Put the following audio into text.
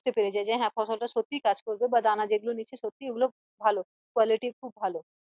বুঝতে পেরে যাই হাঁ ফসল টা সত্যি কাজ করেছে বা দানা যেগুলো নিয়েছে সত্যি ওগুলো ভালো qualities ভালো